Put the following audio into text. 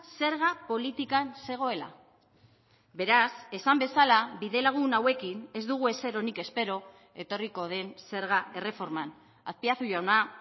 zerga politikan zegoela beraz esan bezala bidelagun hauekin ez dugu ezer onik espero etorriko den zerga erreforman azpiazu jauna